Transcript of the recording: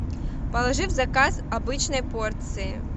положи в заказ обычной порции